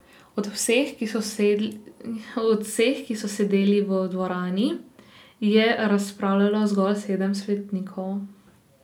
Od vseh, ki so sedeli v dvorani, je razpravljalo zgolj sedem svetnikov.